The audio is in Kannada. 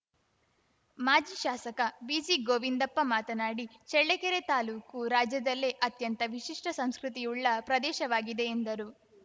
ಮಾಜಿ ಶಾಸಕ ಬಿಜಿ ಗೋವಿಂದಪ್ಪ ಮಾತನಾಡಿ ಚಳ್ಳಕೆರೆ ತಾಲೂಕು ರಾಜ್ಯದಲ್ಲೇ ಅತ್ಯಂತ ವಿಶಿಷ್ಟಸಂಸ್ಕೃತಿಯುಳ್ಳ ಪ್ರದೇಶವಾಗಿದೆ ಎಂದರು